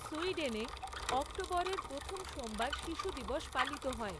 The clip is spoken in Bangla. সুইডেনে, অক্টোবরের প্রথম সোমবার শিশু দিবস পালিত হয়।